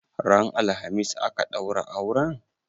Ran alhamis aka ɗaura auren?